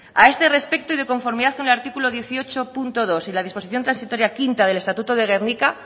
a este respecto y de conformidad con el artículo dieciocho punto dos y la disposición transitoria quinta del estatuto de gernika